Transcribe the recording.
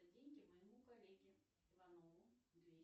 деньги моему коллеге иванову